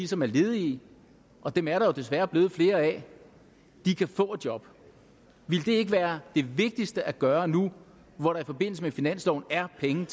som er ledige og dem er der jo desværre blevet flere af kan få et job ville det ikke være det vigtigste at gøre nu hvor der i forbindelse med finansloven er penge